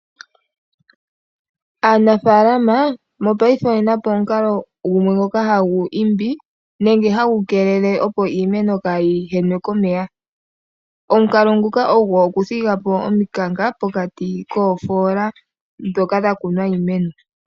Aanafaalama mopayife oyenapo omukalongoka gumwe ngoka hagu keelele opo iimeno kaayihenwe komeya ,omukalo nguka ogo okuthigapo omikanka pokati koofoola ndhoka dhakunwa iimeno .